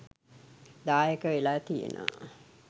දායක වෙලා තියෙනවා.